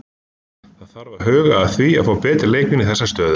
Það þarf að huga að því að fá betri leikmenn í þessa stöðu.